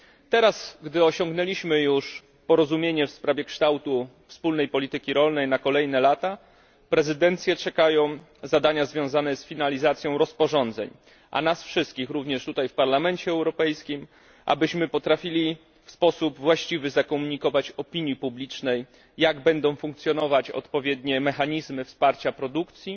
Teraz, gdy osiągnęliśmy już porozumienie w sprawie kształtu WPR na kolejne lata, prezydencję czekają zadania związane z finalizacją rozporządzeń, a nas wszystkich również tutaj w Parlamencie Europejskim wyzwanie polegające na zakomunikowaniu we właściwy sposób opinii publicznej, jak będą funkcjonować odpowiednie mechanizmy wsparcia produkcji